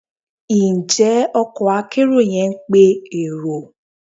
Njẹ ọkò akerò yẹn pe erò